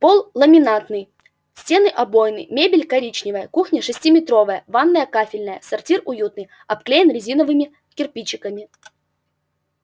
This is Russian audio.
пол ламинатный стены обойные мебель коричневая кухня шестиметровая ванная кафельная сортир уютный обклеен резиновыми кирпичиками